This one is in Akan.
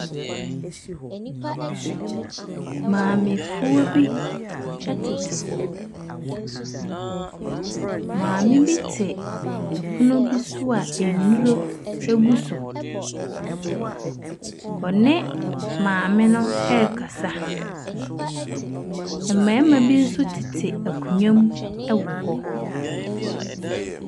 Maamefoɔ bi ɛtete hɔ. Maame bi te ɛpono bi so a ɛnduro egu so. Wɔne maame no ɛkasa. Mbɛɛma bi so tete akonwam ɛwɔ hɔ.